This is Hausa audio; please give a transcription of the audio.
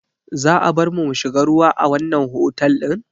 Za a barmu mu shiga ruwa a wannan otal ɗin?